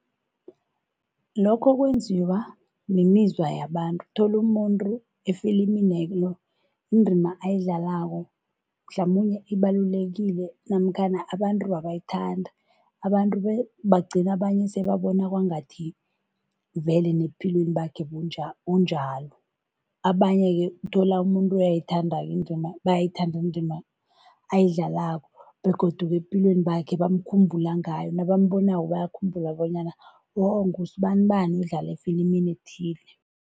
Lokho kwenziwa mimizwa yabantu. Uthola umuntu efiliminelo indima ayidlalako mhlamunye ibalulekile namkhana abantu abayithandi, abantu bagcine abanye sebabona kwangathi vele nebuphilweni bakhe unjalo. Abanye-ke uthola umuntu uyayithanda-ke indima, bayayithanda indima ayidlalako begodu-ke ebuphilweni bakhe bamkhumbula ngayo, nabambonako bakhumbula bonyana oh ngusibanibani odlala efilimini ethile.